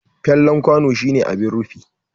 Fallen kwano shine abin rufi.